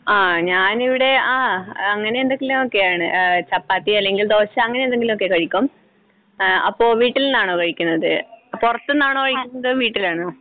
ങ്ഹാ, ഞാനിവിടെ അഹ് അങ്ങനെയെന്തെങ്കിലും ഒക്കെ ആണ്. ചപ്പാത്തി അല്ലെങ്കിൽ ദോശ അങ്ങനെയെന്തെങ്കിലും ഒക്കെ കഴിക്കും. അഹ് അപ്പോൾ വീട്ടിൽ നിന്നാണോ കഴിക്കുന്നത്? പുറത്ത്